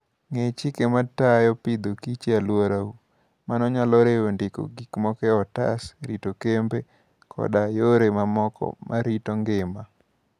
Ng'e chike matayo tij Agriculture and Food e alworau. Mano nyalo riwo ndiko gik moko e otas, rito kembe, koda yore mamoko mag rito ngima.